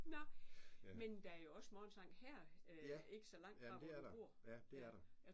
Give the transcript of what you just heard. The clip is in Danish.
Nåh. Men der er jo også morgensang her ikke så langt fra hvor du bor